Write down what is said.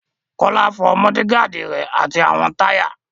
Kọ́lá fọ mọ́ọ́dígaàdi rẹ̀ àti àwọn táyà.